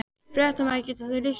Fréttamaður: Getur þú lýst honum?